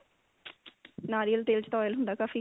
ਨਾਰੀਅਲ ਤੇਲ ਚ ਤਾਂ oil ਹੁੰਦਾ ਕਾਫੀ